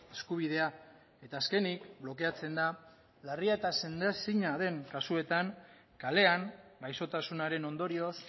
eskubidea eta azkenik blokeatzen da larria eta sendaezina den kasuetan kalean gaixotasunaren ondorioz